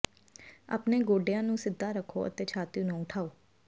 ਆਪਣੇ ਗੋਡਿਆਂ ਨੂੰ ਸਿੱਧਾ ਰੱਖੋ ਅਤੇ ਛਾਤੀ ਨੂੰ ਉਠਾਓ